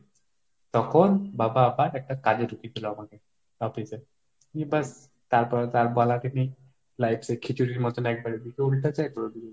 তখন বাবা আবার একটা কাজে ঢুকিয়ে দিল আমাকে office এ, নিয়ে ব্যাস তারপরে তো আর বলারই নেই, life সেই খিচুড়ির মত একবার এদিকে উল্টাচ্ছে, একবার ওদিকে।